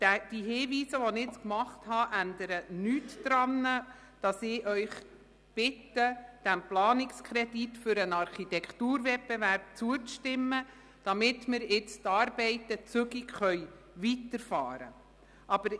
Die Hinweise, die ich gemacht habe, ändern nichts daran, Sie zu bitten, dem Planungskredit für den Architekturwettbewerb zuzustimmen, damit wir zügig mit den Arbeiten weiterfahren können.